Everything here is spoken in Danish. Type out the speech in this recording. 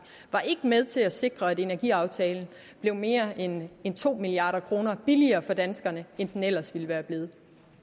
var ikke med til at sikre at energiaftalen blev mere end end to milliard kroner billigere for danskerne end den ellers ville være blevet